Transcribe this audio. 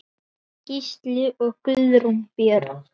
Gísli og Guðrún Björg.